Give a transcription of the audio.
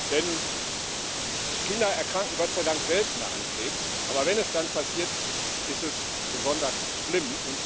Denn Kinder erkranken Gott sei Dank seltener an Krebs, aber wenn es dann passiert, ist es besonders schlimm.